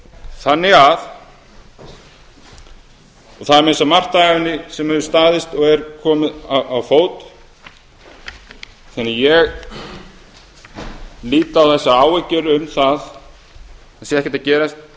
þannig að og það er meira að segja margt af henni sem hefur staðist og er komið á fót þannig að ég lít á þessar áhyggjur um það að